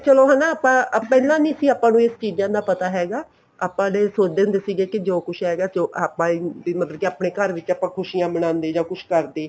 ਚਲੋ ਹਨਾ ਆਪਾਂ ਪਹਿਲਾਂ ਨੀ ਸੀ ਆਪਾਂ ਨੂੰ ਇਹਨਾ ਚੀਜ਼ਾਂ ਦਾ ਪਤਾ ਹੈਗਾ ਆਪਾਂ ਤਾਂ ਸੋਚਦੇ ਹੁੰਦੇ ਸੀ ਕੀ ਜੋ ਕੁੱਝ ਹੈਗਾ ਆਪਾਂ ਵੀ ਮਤਲਬ ਕੇ ਆਪਣੇ ਘਰ ਵਿੱਚ ਆਪਾਂ ਖੁਸ਼ੀਆਂ ਮਨਾਉਂਦੇ ਜਾਂ ਕੁੱਝ ਕਰਦੇ